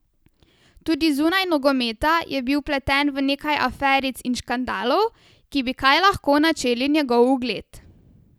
Tudi zunaj nogometa je bil vpleten v nekaj aferic in škandalov, ki bi kaj lahko načeli njegov ugled.